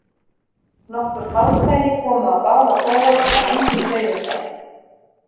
Nokkur hálffæri komu á báða bóga en engin dauðafæri.